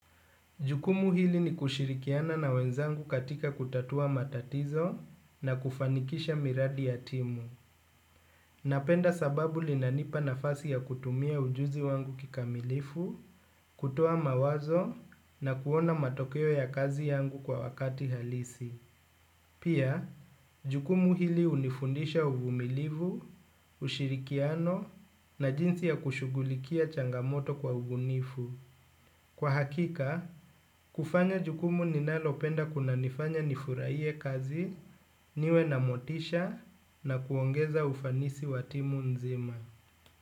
Jukumu hili ni kushirikiana na wenzangu katika kutatua matatizo na kufanikisha miradi ya timu. Napenda sababu linanipa nafasi ya kutumia ujuzi wangu kikamilifu, kutoa mawazo na kuona matokeo ya kazi yangu kwa wakati halisi. Pia, jukumu hili unifundisha uvumilivu, ushirikiano na jinsi ya kushugulikia changamoto kwa ubunifu. Kwa hakika, kufanya jukumu ninalopenda kuna nifurahie kazi niwe na motisha na kuongeza ufanisi watimu nzima.